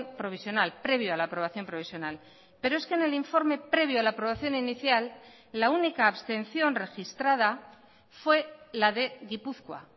provisional previo a la aprobación provisional pero es que en el informe previo a la aprobación inicial la única abstención registrada fue la de gipuzkoa